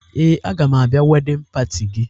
Ee, aga m abịa wedịn pati gị